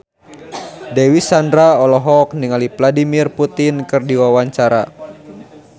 Dewi Sandra olohok ningali Vladimir Putin keur diwawancara